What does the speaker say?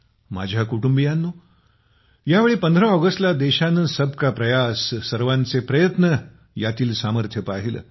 माझ्या कुटुंबियांनो यावेळी 15 ऑगस्टला देशाने सबका प्रयास सर्वांचे प्रयत्न ह्यातील सामर्थ्य पाहिले